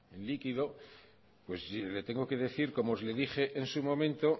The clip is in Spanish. el líquido pues le tengo que decir como le dije en su momento